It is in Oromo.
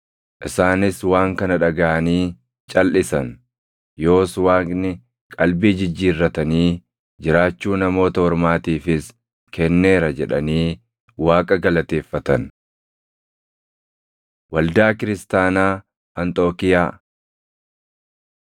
Isaanis waan kana dhagaʼanii calʼisan; “Yoos Waaqni qalbii jijjiirratanii jiraachuu Namoota Ormaatiifis kenneera” jedhanii Waaqa galateeffatan. Waldaa Kiristaanaa Anxookiiyaa